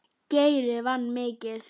Geiri vann mikið.